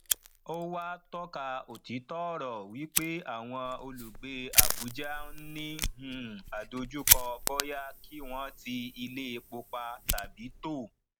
ó wá tọka òtítọ ọrọ wípé àwọn olùgbé abùjá ń ní um àdojúkọ bóyá kí wọn ti iléepo pa tàbí tó